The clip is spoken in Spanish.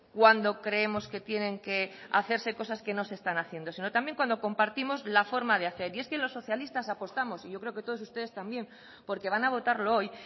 cuando creemos que tienen que hacerse cosas que no se están haciendo sino también cuando compartimos la forma de hacer y es que los socialistas apostamos y yo creo que todos ustedes también porque van a votarlo hoy